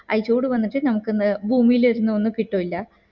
ആ ചൂട് വന്നിട്ട് നമുക് ഇന് ഭൂമില് ഇരുന്നു ഒന്ന് കിട്ടൂല